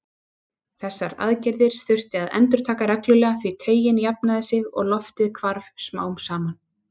Þessar aðgerðir þurfti að endurtaka reglulega því taugin jafnaði sig og loftið hvarf smám saman.